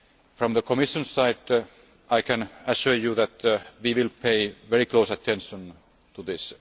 From the Commission's side, I can assure you that we will pay very close attention to this.